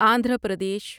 Andhra Pradesh